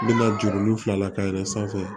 N bɛna juru ninnu fila la ka yɛlɛn sanfɛ